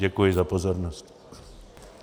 Děkuji za pozornost.